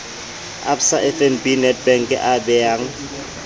absa fnb nedbank a beyang